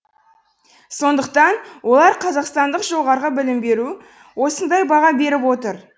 сондықтан олар қазақстандық жоғарғы білім беру осындай баға беріп отыр